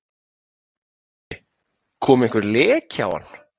Höskuldur Kári: Kom einhver leki á hann?